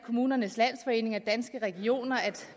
kommunernes landsforening og danske regioner